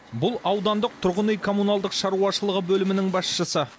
бұл аудандық тұрғын үй коммуналдық шаруашылығы бөлімінің басшысы